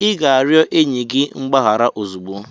Ị ga-arịọ enyi gị mgbaghara ozugbo!